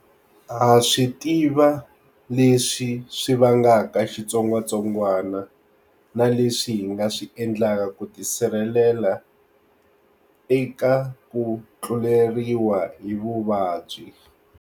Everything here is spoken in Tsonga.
Ha swi tiva leswi swi vangaka xitsongwatsongwana na leswi hi nga swi endlaka ku tisirhelela eka ku tluleriwa hi vuvabyi.